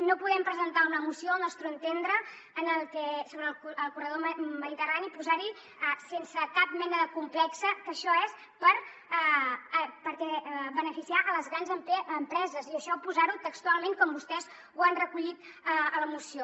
no podem presentar una moció al nostre entendre en què sobre el corredor mediterrani posar sense cap mena de complex que això és per beneficiar les grans empreses i això posar ho textualment com vostès ho han recollit a la moció